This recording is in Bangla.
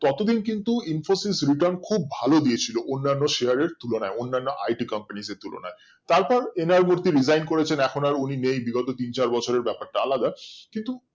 ততো দিন কিন্তু infosys return খুব ভালো দিয়েছিলো অন্যান্য Share এর তুলনায় অন্যান্য I. T company এর তুলনায় তারপর N. R. মুরথি resign করেছেন এখন আর উনি নেই বিগত তিন চার ব্যাপারটা আলাদা কিন্তু